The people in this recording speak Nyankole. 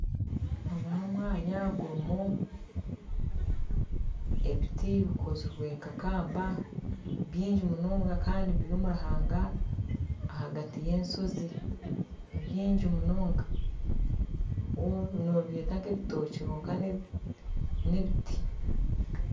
Ogu n'omwanya gurumu ebiti bikozirwe nka kamba byingi munonga Kandi biri omuruhaanga ahagati y'ensozi , nibyingi munonga nobyeta nk'ebitookye kwonka n'ebiti.